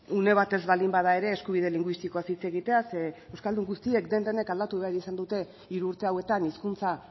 une batez baldin bada ere eskubide linguistikoaz hitz egitea zeren euskaldun guztiek den denek aldatu behar izan dute hiru urte hauetan hizkuntza